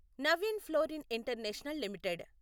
Naveen Fluorine International limited